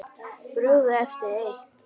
Brugðið eftir eitt.